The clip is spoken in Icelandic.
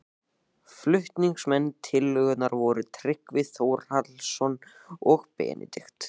Flutningsmenn tillögunnar voru Tryggvi Þórhallsson og Benedikt